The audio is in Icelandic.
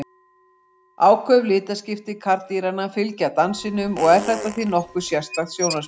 Áköf litaskipti karldýranna fylgja dansinum og er þetta því nokkuð sérstakt sjónarspil.